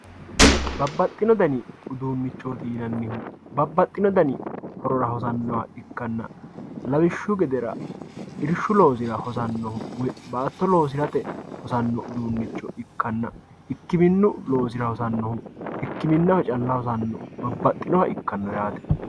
Babaxino dani udunichoti yinanihu babaxino dani horora hosanoha ikkana lawishshu gedera irsha losiranohu irshshu loosira baato losirate uduunicho ikkana ikiminu loosira hosanoha ikiminaho calla hosano babaxinoha ikano yaate